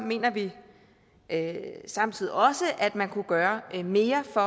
mener vi samtidig også at man kunne gøre mere for